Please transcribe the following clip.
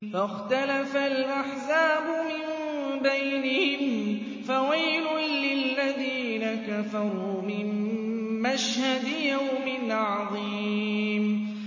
فَاخْتَلَفَ الْأَحْزَابُ مِن بَيْنِهِمْ ۖ فَوَيْلٌ لِّلَّذِينَ كَفَرُوا مِن مَّشْهَدِ يَوْمٍ عَظِيمٍ